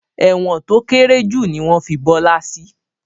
Ẹ̀wọ̀n to kéré jù ni wọn fí Bọlá sì